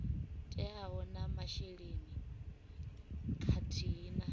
teaho na masheleni khathihi na